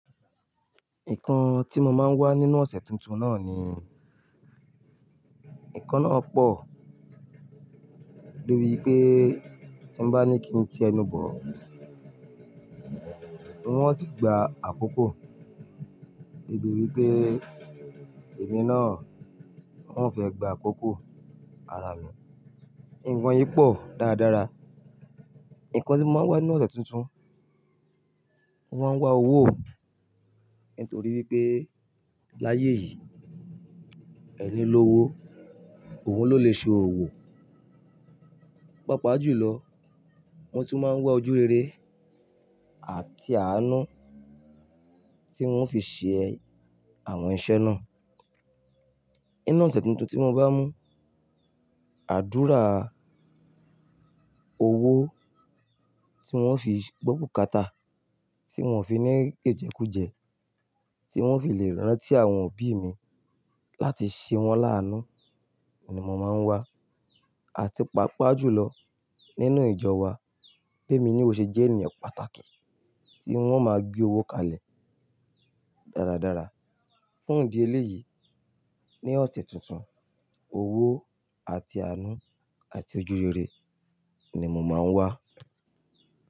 Nǹkan tí mo máa ń wá nínú ọ̀sẹ̀ tuntun náà ni, nǹkan náà pọ̀, torí pé tí mo bá ní kí ń ti ẹnu bọ, wọ́n sì gba àkókò, torí pé èmi náà, ùn o fẹ́ gba àkókò ara mi. Nǹkan yìí pọ̀ dáradára. Nǹkan tí mo máa ń wá nínú ọ̀sẹ̀ tuntun, mo máa ń wá owó, nítorí wípé láyé yìí, ẹni lówo òun ló lè ṣe òwò. Pápá jù lọ, mo tún máa ń wá ojú rere àti àánú tí wọ́n fi ṣe àwọn iṣẹ́ náà. Inú ọ̀sẹ̀ tuntun tí mo bá mú, àdúrà, owó tí ùn o fi gbọ bukátà, tí un o fi ní jẹjẹkújẹ̀, tí ùn o fi lè rántí àwọn òbí mi láti ṣe wọ́n láánú ni mo máa ń wá. Àti paapaa jù lọ nínú ìjọ wa, bi émi náà ó ṣe jẹ́ ènìyàn pàtàkì tí ùn o máa gbé owó kalẹ̀ dáradára fún ìdí eléyìí. Ní ọ̀sẹ̀ tuntun, owó àti àánú àti ojú rere ni mo máa ń wá.